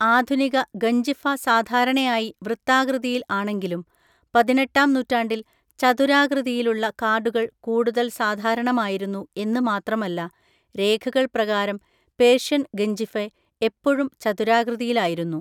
ആധുനിക ഗഞ്ചിഫ സാധാരണയായി വൃത്താകൃതിയില്‍ ആണെങ്കിലും, പതിനെട്ടാം നൂറ്റാണ്ടിൽ ചതുരാകൃതിയിലുള്ള കാർഡുകൾ കൂടുതൽ സാധാരണമായിരുന്നു എന്ന് മാത്രമല്ല രേഖകൾ പ്രകാരം പേർഷ്യൻ ഗഞ്ചിഫെ എപ്പോഴും ചതുരാകൃതിയിലായിരുന്നു.